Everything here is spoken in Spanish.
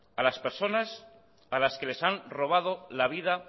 a las personas a las que les han robado la vida